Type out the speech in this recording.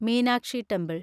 Meenakshi temple